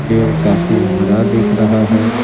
पेड़ काफ़ी हरा दिख रहा है।